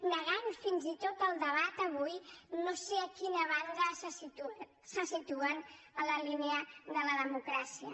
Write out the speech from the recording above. negant fins i tot el debat avui no sé a quina banda se situen en la línia de la democràcia